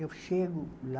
Eu chego lá,